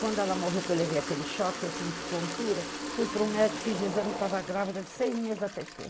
Quando ela morreu, que eu levei aquele choque, eu senti tontura, fui para um médico, fiz o exame e estava grávida de seis meses da Tetê